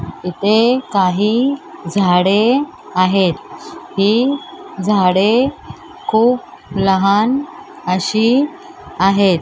इथे काही झाडे आहेत ही झाडे खूप लहान अशी आहेत.